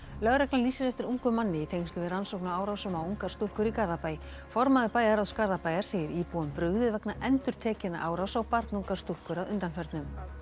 lögreglan lýsir eftir ungum manni í tengslum við rannsókn á árásum á ungar stúlkur í Garðabæ formaður bæjarráðs Garðabæjar segir íbúum brugðið vegna endurtekinna árása á barnungar stúlkur að undanförnu